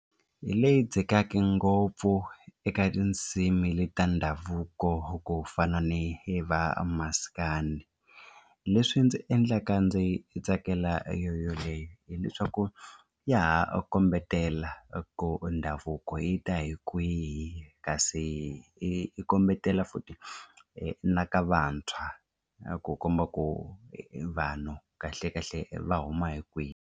Hi leyi dzikaka ngopfu eka tindzimi leti ta ndhavuko ku fana ni va maskandi leswi ndzi endlaka ndzi tsakela yoyoleyo hileswaku ya ha kombetela ku ndhavuko yi ta hi kwihi kasi i kombetela futhi na ka vantshwa ku komba ku vanhu kahlekahle va huma hi kwihi.